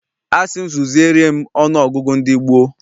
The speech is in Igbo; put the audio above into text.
Asị m zuziere m ọnụ ọgụgụ ndị gboo.